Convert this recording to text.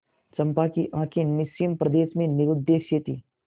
चंपा की आँखें निस्सीम प्रदेश में निरुद्देश्य थीं